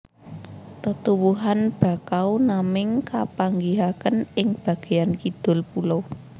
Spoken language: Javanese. Tetuwuhan Bakau naming kapanggihaken ing bageyan kidul pulo